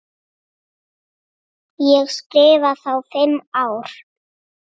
Ég skrifa þá fimm ár.